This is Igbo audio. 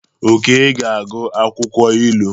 Oke ga-agụ akwụkwọ ilu.